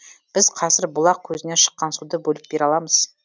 біз қазір бұлақ көзінен шыққан суды бөліп бере аламыз